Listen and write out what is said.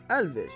Əl ver.